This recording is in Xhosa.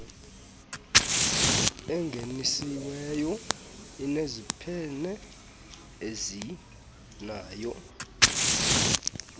engenisiweyo zineziphene ezinazo